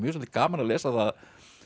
gaman að lesa það